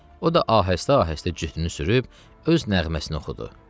O da ahəstə-ahəstə cütünü sürüb, öz nəğməsini oxudu.